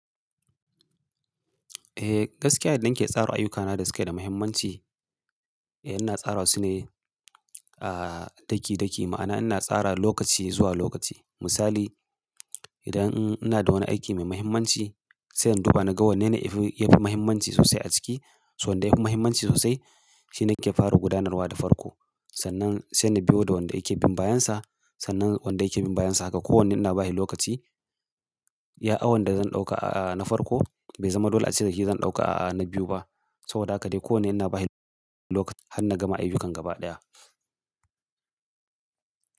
Eh, gaskiya yadda nake tsara ayyukana da suke da muhimmanci, eh ina tsara su ne, aa, daki daki. Ma'ana ina tsara lokaci zuwa lokaci. Misali, idan ina da wani aiki mai muhimmanci, sai in duba naga wanne ne ya fi, ya fi muhimmanci sosai a ciki. So wanda ya fi muhimmanci sosai, shi nake fara gudanarwa da farko. Sannan sai na biyo da wanda yake bin bayansa. Sannan wanda yake bin bayansa haka. Ko wanne ina bashi lokaci. Iya awan da zan ɗauka a na farko bai zama dole a ce da shi zan ɗauka a na biyu ba. Saboda haka dai ko wanne ina bashi lokaci har na gama ayyukan gaba ɗaya.